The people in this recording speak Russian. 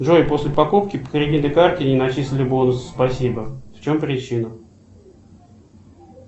джой после покупки по кредитной карте не начислили бонусы спасибо в чем причина